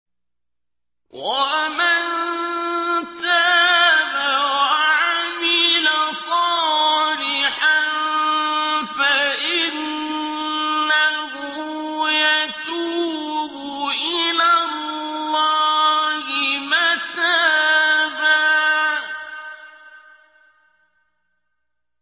وَمَن تَابَ وَعَمِلَ صَالِحًا فَإِنَّهُ يَتُوبُ إِلَى اللَّهِ مَتَابًا